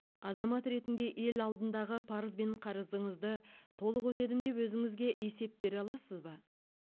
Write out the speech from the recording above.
азамат ретінде ел алдындағы парыз бен қарызыңызды толық өтедім деп өзіңізге есеп бере аласыз ба